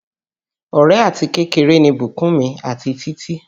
Ọ̀rẹ́ àti kékeré ni Bukunmi àti Títí